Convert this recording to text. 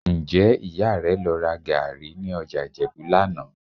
Ǹjẹ́ Ìyá rẹ lọ ra gàárì ní ọjà Ìjẹ̀bú lánàá?